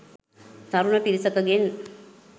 තරුණ පිරිසකගෙන්